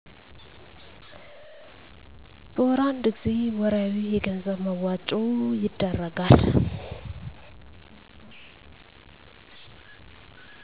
በወር አንድ ጊዜ ወርሀዊ የገንዘብ መዋጮ ይደረጋል